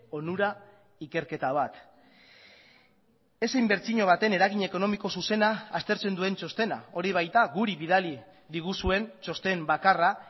onura ikerketa bat ez inbertsio baten eragin ekonomiko zuzena aztertzen duen txostena hori baita guri bidali diguzuen txosten bakarra